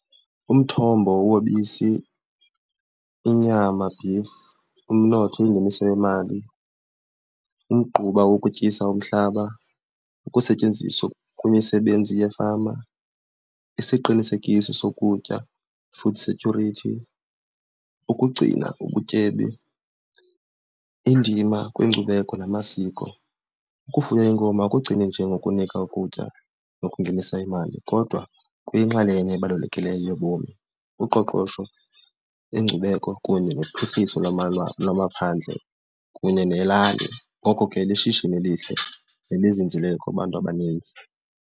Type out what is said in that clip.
Umthombo wobisi, inyama beef, umnotho ingeniso yemali, umgquba wokutyisa umhlaba, ukusetyenziswa kwimisebenzi yefama, isiqinisekiso sokutya food security, ukugcina ubutyebi, indima kwiinkcubeko namasiko. Ukufuya iinkomo akugcini nje ngokunika ukutya nokungenisa imali kodwa kuyinxalenye ebalulekileyo yobomi, uqoqosho, iinkcubeko kunye nophuhliso lwamaphandle kunye nelali. Ngoko ke lishishini elihle nelizinzileyo kubantu abaninzi.